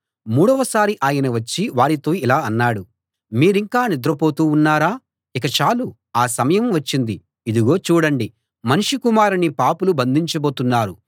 మూడవ సారి ఆయన వచ్చి వారితో ఇలా అన్నాడు మీరింకా నిద్రపోతూ ఉన్నారా ఇక చాలు ఆ సమయం వచ్చింది ఇదిగో చూడండి మనుష్య కుమారుణ్ణి పాపులు బంధించబోతున్నారు